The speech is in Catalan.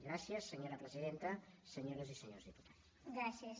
gràcies senyora presidenta senyores i senyors diputats